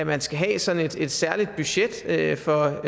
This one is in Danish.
man skal have sådan et særligt budget for